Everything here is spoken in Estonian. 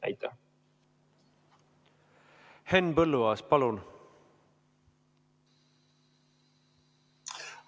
Henn Põlluaas, palun!